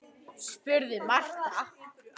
spurði Marta.